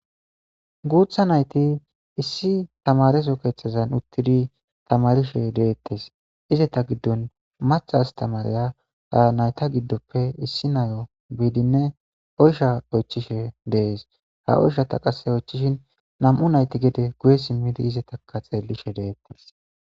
Gutha nayti issi tamareso kethazan uttidi tamarishe deetes izeta gidon mathse astamariya ha nayta gidope issi nayo